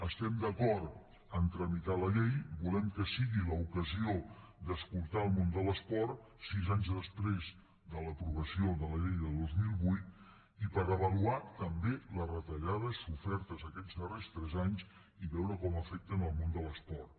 estem d’acord a tramitar la llei volem que sigui l’ocasió d’escoltar el món de l’esport sis anys després de l’aprovació de la llei de dos mil vuit i per avaluar també les retallades sofertes aquests darrers tres anys i veure com afecten el món de l’esport